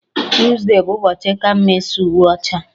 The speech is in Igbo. Tuesde bụ ụbọchị ka mma ịsa uwe ọcha